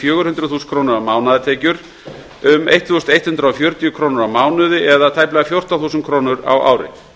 fjögur hundruð þúsund króna mánaðartekjur um ellefu hundruð fjörutíu krónur á mánuði það er tæplega fjórtán þúsund krónur á ári